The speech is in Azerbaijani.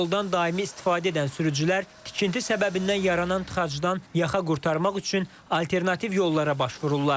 Yoldan daimi istifadə edən sürücülər tikinti səbəbindən yaranan tıxacdan yaxa qurtarmaq üçün alternativ yollara başvururlar.